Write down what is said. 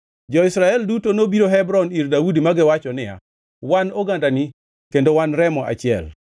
Jo-Israel duto nobiro Hebron ir Daudi ma giwacho niya, “Wan ogandani kendo wan remo achiel.